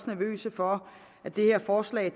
nervøse for at det her forslag